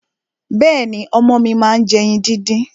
Bẹ́ẹ̀ni, ọmọ mi máa ń jẹ ẹyin díndín.